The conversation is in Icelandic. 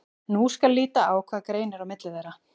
Nú skal líta á hvað greinir á milli þeirra.